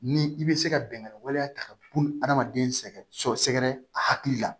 Ni i bɛ se ka bɛngan waleya ta ka bun adamaden sɛgɛn sɔ sɛgɛ a hakili la